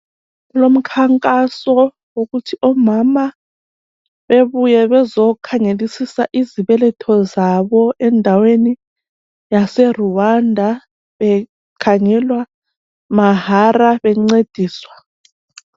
Kulomkhankaso wokuthi omama bebuye bezokhangelisisa izibeletho zabo endaweni yaseRwanda bekhangelwa mahara bencediswa.